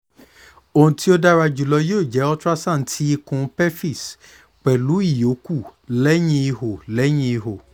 ohun ti o dara julọ yoo jẹ ultrasound ti ikun pelvis pẹlu awọn iyokù lẹhin iho lẹhin iho